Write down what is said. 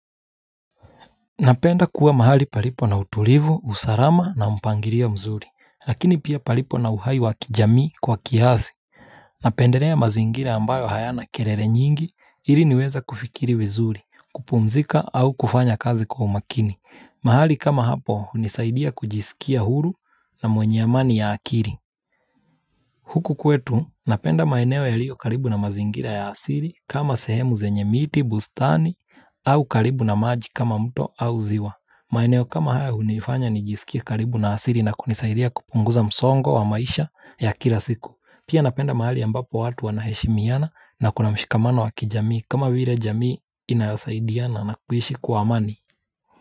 Napenda kuwa mahali palipo na utulivu, usarama na umpangirio mzuri, lakini pia palipo na uhai wakijami kwa kiazi. Napenderea mazingira ambayo hayana kerere nyingi, ili niweza kufikiri vizuri, kupumzika au kufanya kazi kwa umakini. Mahali kama hapo, nisaidia kujisikia huru na mwenyeamani ya akiri. Huku kwetu, napenda maeneo ya lio karibu na mazingira ya asiri kama sehemu zenye miti, bustani au karibu na maji kama mto au ziwa. Maeneo kama haya unifanya ni jisikie karibu na asiri na kunisaida kupunguza msongo wa maisha ya kila siku Pia napenda mahali ambapo watu wanaheshemiana na kuna mshikamano wa kijamii kama vile jamii inayosaidia na nakuishi kwa amani.